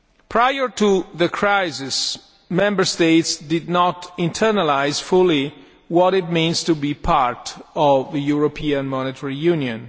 Prior to the crisis, Member States did not internalise fully what it means to be part of a European Monetary Union.